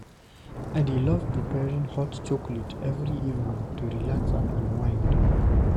I dey love preparing hot chocolate every evening to relax and unwind.